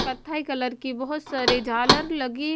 कत्थई कलर की बहुत सारे झालर लगे --